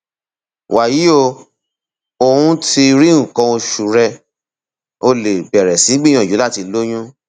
wàyí o o um ti rí nǹkan oṣù rẹ o lè bẹrẹ sí gbìyànjú láti lóyún